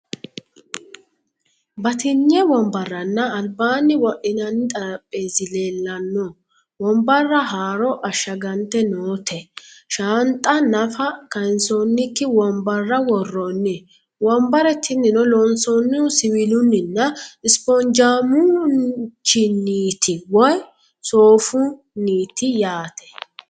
Batinye wonbarranna albaanni wodhinanni xarapheezzi leellanno. Wonbarra haaro ashshagante noote. Shaanxa nafa kayinsoonnikki wonbarra worroonni. Wonbare tinino loonsoonnihu siwiilunninna spoonjaamueichinniiti woyi soofunnite yaate.